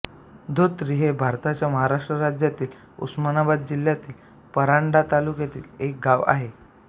धोत्री हे भारताच्या महाराष्ट्र राज्यातील उस्मानाबाद जिल्ह्यातील परांडा तालुक्यातील एक गाव आहे